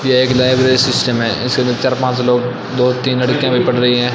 यह एक library system है इसके अंदर चार पांच लोग दो तीन लड़कियां भी पढ़ रहीं हैं।